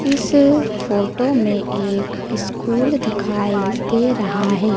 इस फोटो में एक स्कूल दिखाई दे रहा हैं।